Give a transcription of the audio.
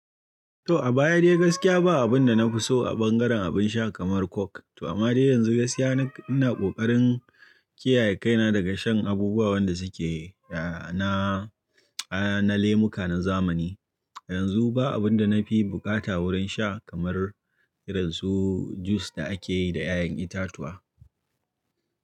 To a baya dai gaskiya ba abin da na fi so a ɓangaren abin sha kamar coke. To amma dai yanzu gaskiya ina kokarin kiyaye kaina daga shan abubuwa wanda suke na, na lemuka na zamani. Yanzu ba abin da na fi buƙata wurin sha kamar irin su jus da akeyi da ya'yan itatuwa.